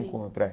Do encontro, é.